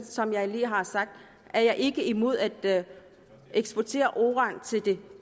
som jeg lige har sagt er jeg ikke personligt imod at eksportere uran til de